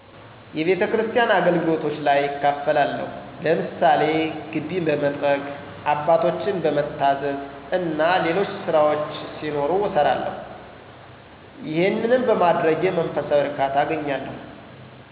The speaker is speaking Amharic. የቤተስኪያን አገልግሎቶች ላይ እካፈላለሁ። ለምሳሌ ግቢ በመጥረግ፣ አባቶችን በመታዘዝ እና ሌሎች ስራዎች ሲኖሩ እሰራለሁ። ይሄንንም በማድረጌ መንፈሳዊ እርካታ አገኛለሁ።